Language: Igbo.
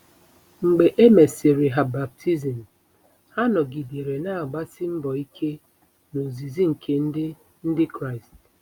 Mgbe e mesịrị ha baptizim, “ha nọgidere na-agbasi mbọ ike n’ozizi nke Ndị Ndị Kraịst.”